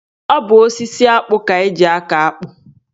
Ọ bụ osisi akpụ ka eji akọ akpụ.